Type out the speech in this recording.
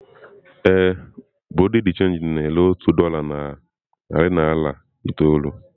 Ee, bureau de change na-ere otu dolá na narị naira itoolu.